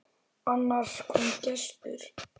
Annars kom gestur.